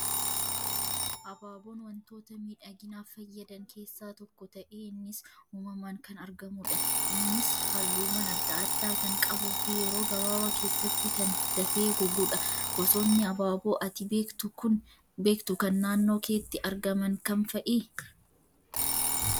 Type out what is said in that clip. Abaaboon wantoota miidhaginaaf fayyadan keessaa tokko ta'ee innis uumamaan kan argamudha. Innis halluuwwan adda addaa kan qabuu fi yeroo gabaabaa keessatti kan dafee gogudha. Gosoonni abaaboo ati beektu kan naannoo keetti argaman kam fa'ii?